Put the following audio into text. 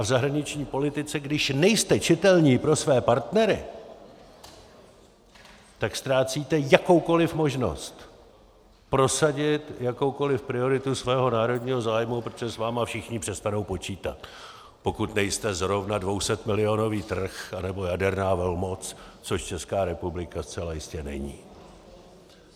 A v zahraniční politice když nejste čitelní pro své partnery, tak ztrácíte jakoukoliv možnost prosadit jakoukoliv prioritu svého národního zájmu, protože s vámi všichni přestanou počítat, pokud nejste zrovna 200milionový trh anebo jaderná velmoc, což Česká republika zcela jistě není.